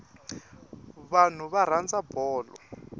vanhu va rhandza bolo